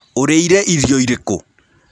Ũrĩĩre irio ĩrĩkũ.